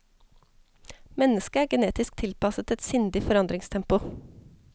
Mennesket er genetisk tilpasset et sindig forandringstempo.